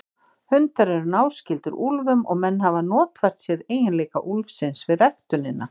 Hundar eru náskyldir úlfum og menn hafa notfært sér eiginleika úlfsins við ræktunina.